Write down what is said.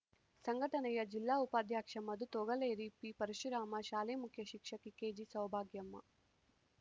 ಸಂಘಟನೆಯ ಜಿಲ್ಲಾ ಉಪಾಧ್ಯಕ್ಷ ಮಧು ತೊಗಲೇರಿ ಪಿಪರಶುರಾಮ ಶಾಲೆ ಮುಖ್ಯ ಶಿಕ್ಷಕಿ ಕೆಜಿಸೌಭಾಗ್ಯಮ್ಮ